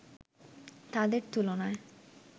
তাদের তুলনায়